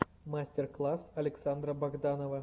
мастер класс александра богданова